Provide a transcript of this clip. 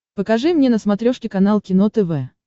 покажи мне на смотрешке канал кино тв